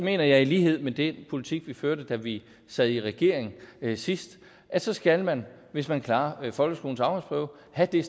jeg i lighed med den politik vi førte da vi sad i regering sidst at så skal man hvis man klarer folkeskolens afgangsprøve have det